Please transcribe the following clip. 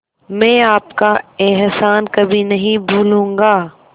मैं आपका एहसान कभी नहीं भूलूंगा